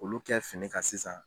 Olu kɛ fini kan sisan.